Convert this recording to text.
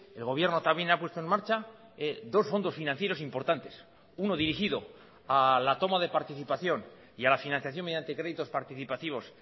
el gobierno también ha puesto en marcha dos fondos financieros importantes uno dirigido a la toma de participación y a la financiación mediante créditos participativos